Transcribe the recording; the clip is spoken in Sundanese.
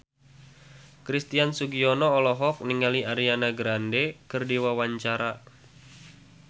Christian Sugiono olohok ningali Ariana Grande keur diwawancara